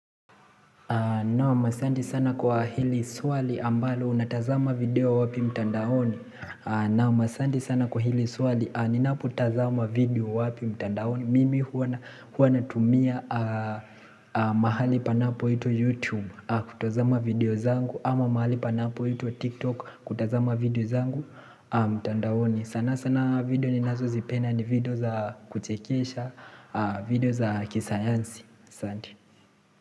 Naam asanti sana kwa hili swali ambalo natazama video wapi mtandaoni Naam asante sana kwa hili swali ninapotazama video wapi mtandaoni Mimi huwa natumia mahali panapoitwa youtube kutazama video zangu ama mahali panapoitwa tiktok kutazama video zangu mtandaoni sana sana video ninazozipenda ni video za kuchekesha video za kisayansi asanti.